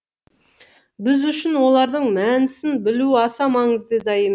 біз үшін олардың мәнісін білу аса маңызды да емес